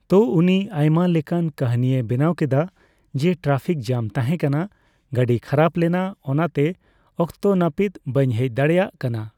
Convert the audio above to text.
ᱛᱚ ᱩᱱᱤ ᱟᱭᱢᱟ ᱞᱮᱠᱟᱱ ᱠᱟᱹᱦᱤᱱᱤᱭ ᱵᱮᱱᱟᱣ ᱠᱮᱫᱟ, ᱡᱮ ᱴᱨᱟᱯᱷᱤᱠ ᱡᱟᱢ ᱛᱟᱦᱮᱸ ᱠᱟᱱᱟ ᱾ᱜᱟᱹᱰᱤ ᱠᱷᱟᱨᱟᱯ ᱞᱮᱱᱟ ᱾ᱚᱱᱟ ᱛᱮ ᱚᱠᱛᱚ ᱱᱟᱯᱤᱛ ᱵᱟᱹᱧ ᱦᱮᱡ ᱫᱟᱲᱮᱭᱟᱜ ᱠᱟᱱᱟ ᱾